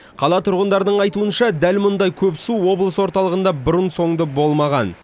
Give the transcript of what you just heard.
қала тұрғындарының айтуынша дәл мұндай көп су облыс орталығында бұрын соңды болмаған